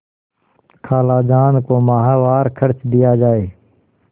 खालाजान को माहवार खर्च दिया जाय